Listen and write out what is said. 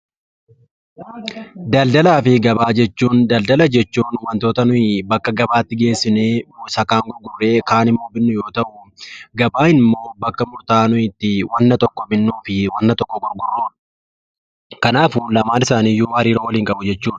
Daldaala jechuun wanta nuti gara gabaatti geessinee gurgurruu fi binnu yoo ta'u, gabaan immoo bakka murtaa'aa nuti wanta tokko binnuu fi gurgurrudha. Kanaafuu lamaan isaaniiyyuu hariiroo waliin qabu jechuudha.